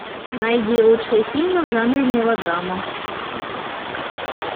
найди лучшие фильмы в жанре мелодрама